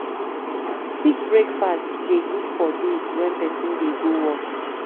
Quick breakfast dey good for days wen pesin dey go work.